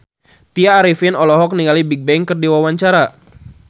Tya Arifin olohok ningali Bigbang keur diwawancara